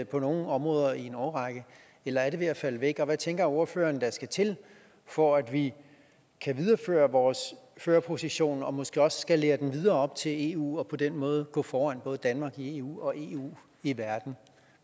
på nogle områder i en årrække eller er det ved at falde væk hvad tænker ordføreren der skal til for at vi kan videreføre vores førerposition og måske også skalere den videre op til eu og på den måde gå foran både danmark i eu og eu i verden